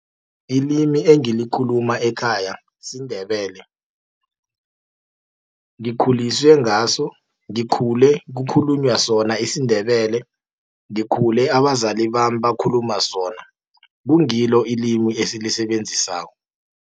Ilimi engilikhuma ekhaya siNdebele, ngikhuliswe ngaso, ngikhule kukhulunywa sona isiNdebele. Ngikhule abazali bami bakhuluma sona, kungilo ilimi esilisebenzisako.